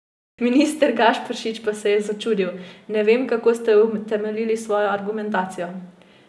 Minister Gašperšič pa se je začudil: "Ne vem, kako ste utemeljili svojo argumentacijo.